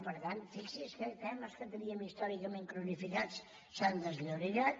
per tant fixi’s que temes que teníem històricament cronificats s’han desllorigat